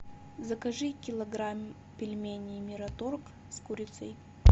закажи килограмм пельменей мираторг с курицей